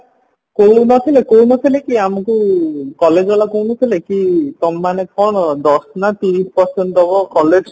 କଉ ନଥିଲେ କଉ ନଥିଲେ କି ଆମକୁ college ବାଲା କହୁନଥିଲେ କି ତମେ ମାନେ କଣ ଦଶ ନା ତିରିଶ percent ଦବ collegeକୁ